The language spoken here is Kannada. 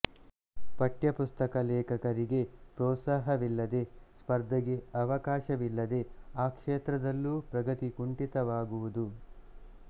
ಪಠ್ಯಪುಸ್ತಕ ಲೇಖಕರಿಗೆ ಪ್ರೋತ್ಸಾಹವಿಲ್ಲದೆ ಸ್ಪರ್ಧೆಗೆ ಅವಕಾಶವಿಲ್ಲದೆ ಆ ಕ್ಷೇತ್ರದಲ್ಲೂ ಪ್ರಗತಿ ಕುಂಠಿತವಾಗುವುದು